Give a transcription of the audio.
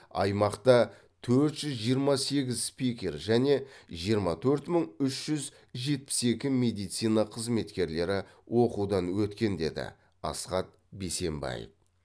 аймақта төрт жүз жиырма сегіз спикер және жиырма төрт мың үш жүз жетпіс екі медицина қызметкерлері оқытудан өткен деді асхат бейсенбаев